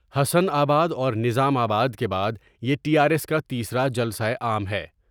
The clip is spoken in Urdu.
حسن آباداور نظام آباد کے بعد یہ یٹی آرایس کا تیسرا جلسہ عام ہے ۔